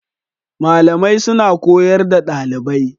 Malamai suna koyar da dalibai